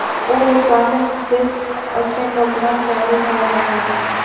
U Ruslanni Fres Okendo bilan jangga tayyorlagandi.